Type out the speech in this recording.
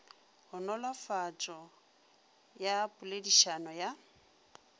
go nolofatšo ya poledišano ya